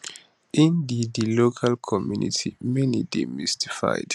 in di di local community many dey mystified